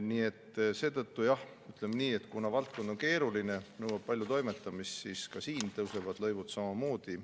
Nii et jah, ütleme nii, et kuna valdkond on keeruline ja nõuab palju toimetamist, siis tõusevad lõivud siin samuti.